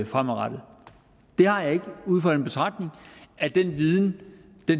fremadrettet det har jeg ikke ud fra den betragtning at den viden